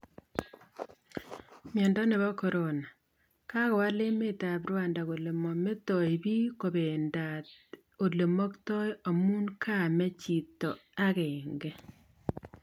Miondo nebo Corona:Kagowal emet ap Rwanda kole mametoi bik kobenmdat ole maktoi amu kamee chito agenge